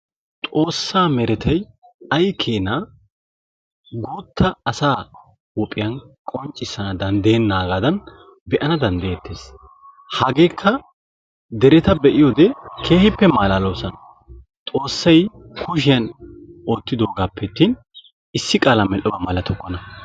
Xoossa meretay ayi keena guuta asa huuphiyan qonccissana daddeyenaagaadan be'ana daddayeetees; hageekka dereeta be'iyoode keehippe malaaloosona; xossay kushiyan ottidogaappe attin issi qaalaan medhdhoba malattokkona.